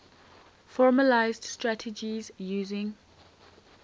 formalised strategies using